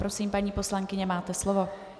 Prosím, paní poslankyně, máte slovo.